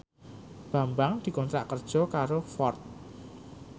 Bambang dikontrak kerja karo Ford